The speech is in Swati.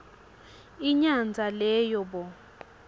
inyandza leyo bo